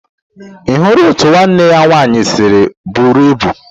Ị hụrụ otú nwanne ya nwaanyị si buru ibu?